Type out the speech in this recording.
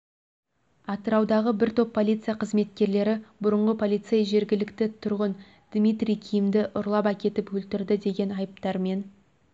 атыраудағы бір топ полиция қызметкерлері бұрынғы полицей жергілікті тұрғын дмитрий кимді ұрлап әкетіп өлтірді деген айыптармен